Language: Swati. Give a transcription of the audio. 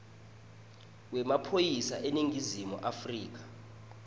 wemaphoyisa eningizimu afrika